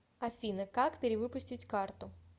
афина как пере выпустить карту